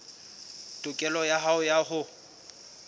tokelo ya hao ya ho